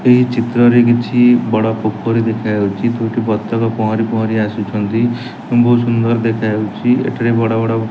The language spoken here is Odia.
ଏହି ଚିତ୍ରରେ କିଛି ବଡ଼ ପୋଖୋରି ଦେଖାଯାଉଚି ଦୁଇଟି ବତକ ପହଁରି ପହଁରି ଆସୁଛନ୍ତି ଉଁ ବୋହୁତ ସୁନ୍ଦର ଦେଖାଯାଉଛି ଏଠାରେ ବଡ଼ ବଡ଼ --